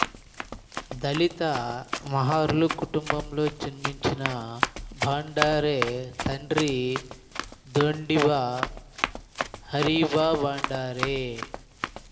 దళిత మహర్ల కుటుంబంలో జన్మించిన భండారే తండ్రి ధోండీబా హరీబా భండారే